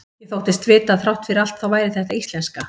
Ég þóttist vita að þrátt fyrir allt þá væri þetta íslenska.